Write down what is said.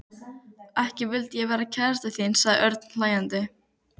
Ekki vildi ég vera kærastan þín sagði Örn hlæjandi.